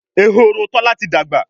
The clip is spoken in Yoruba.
Ehoro Tola tí dagba